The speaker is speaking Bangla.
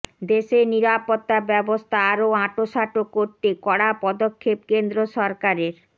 দেশের নিরাপত্তা ব্যবস্থা আরও আঁটোসাঁটো করতে কড়া পদক্ষেপ কেন্দ্র সরকারের